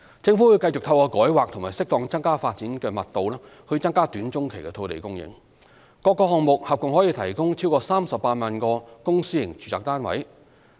政府會繼續透過改劃和適當增加發展密度以增加短中期的土地供應，各個項目合共可提供超過38萬個公私營住宅單位。